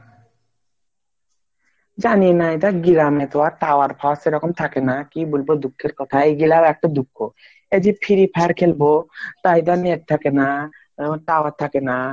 জানিনা এটা গ্রামে তো আর tower ফাওয়ার সেরকম থাকে থাকেনা কি বলব দুঃখের কথা এগুলা ও একটা দুঃখ এই যে free fire খেলবো তার ই জন্যই net থাকে না tower থাকেনা